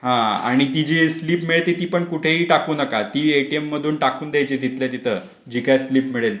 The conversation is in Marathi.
हा आणि ती जी स्लिप मिळते ती पण कुठेही टाकू नका ती एटीएम मधून टाकून द्यायची तिथल्या तिथ जिथं स्लिप मिळेल ती.